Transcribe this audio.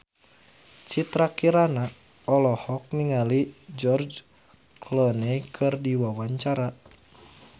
Citra Kirana olohok ningali George Clooney keur diwawancara